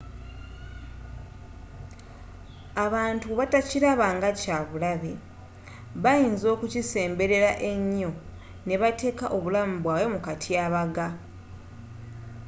abantu bwe batakiraba nga kya bulabe bayinza okukisemberera ennyo n'ebateeka obulamu bwabwe mu katyabaga